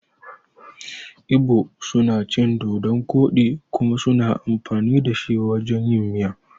Ibo suna cin dodun koɗi kuma suna amfani dashi wajan yin miya.